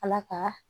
Ala ka